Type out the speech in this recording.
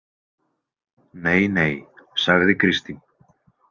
Nei nei, sagði Kristín.